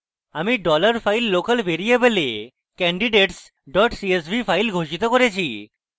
আমি dollar file local ভ্যারিয়েবলে candidates csv file ঘোষিত করেছি